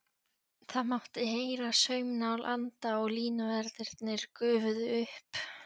Það mátti heyra saumnál anda og línuverðirnir gufuðu upp.